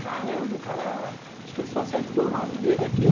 Caramba, o cara, acho que ele só acertou o nome dele aqui.